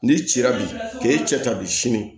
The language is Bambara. N'i cira bi k'e cɛ ta bi sini